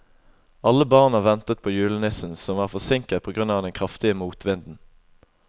Alle barna ventet på julenissen, som var forsinket på grunn av den kraftige motvinden.